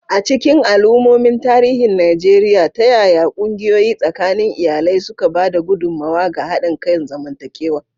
A cikin al'ummomin tarihin Najeriya, ta yaya ƙungiyoyi tsakanin iyalai suka ba da gudummawa ga haɗin kan zamantakewa?